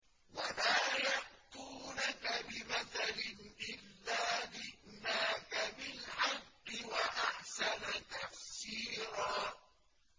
وَلَا يَأْتُونَكَ بِمَثَلٍ إِلَّا جِئْنَاكَ بِالْحَقِّ وَأَحْسَنَ تَفْسِيرًا